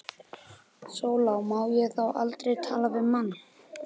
SÓLA: Má ég þá aldrei tala við mann?